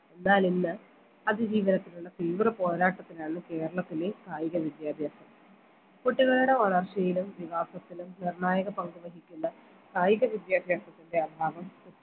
എന്നാലിന്ന് അതിജീവനത്തിനുള്ള തീവ്ര പോരാട്ടത്തിലാണ് കേരളത്തിലെ കായിക വിദ്യാഭ്യാസം കുട്ടികളുടെ വളർച്ചയിലും വികാസത്തിലും നിർണായക പങ്ക് വഹിക്കുന്ന കായിക വിദ്യാഭ്യാസത്തിൻറെ അഭാവം